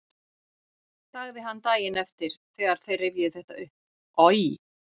sagði hann daginn eftir þegar þeir rifjuðu þetta upp: Oj!